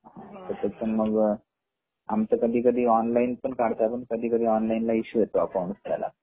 हो हो आमच कधी कधी ऑनलाईन पण काढतात अन कधी कधी ऑनलाईन इसू येतो अकाउंट ला आणि घरी